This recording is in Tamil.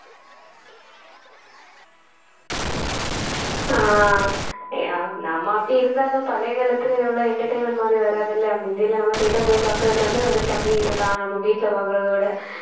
ஆஹ் நம்ம அப்படி இருந்தாலும் பழைய காலத்துல எவ்ளோ entertainment மாதிரி வராதுல்ல மிந்தில நம்ம theater போய் பாக்குறது வந்து ஒரு தனி இதுதான் நம்ம வீட்ல பாக்குறதோட